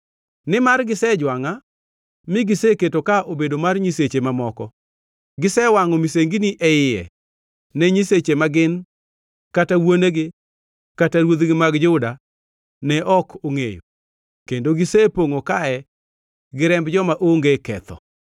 nimar gisejwangʼa mi giseketo ka obedo mar nyiseche mamoko, gisewangʼo misengini e iye ne nyiseche ma gin kata wuonegi kata ruodhi mag Juda ne ok ongʼeyo, kendo gisepongʼo kae gi remb joma onge ketho.